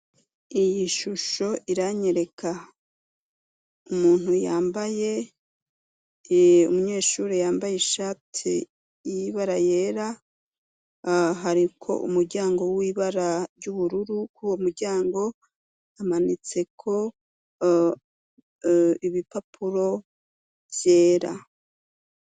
Iyi shusho iranyereka ikibuga i ruhande hariho uruzitiro rukoreshejwe ivyuma irya yaho imbere hariho inzu ishaje igize n'inkingi zera ku nkinge kua nkuko nkinge z'iyo nzu, ariko ibara ry'umutuku.